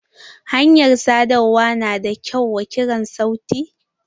Hanyar sadarwa na da kyau wa kirar sauti?